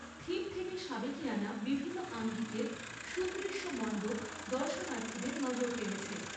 Theme থেকে সাবেকীয়ানা বিভিন্ন আঙ্গিকের সুদৃশ্য মণ্ডপ দর্শনার্থীদের নজর কেড়েছে।